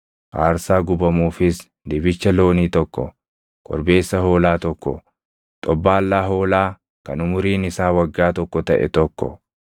aarsaa gubamuufis dibicha loonii tokko, korbeessa hoolaa tokko, xobbaallaa hoolaa kan umuriin isaa waggaa tokko taʼe tokko,